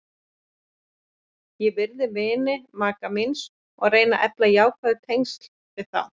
Ég virði vini maka míns og reyni að efla jákvæð tengsl við þá.